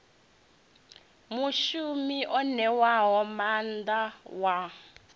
mushumi o ṋewaho maanḓa wa